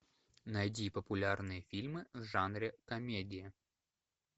найди популярные фильмы в жанре комедия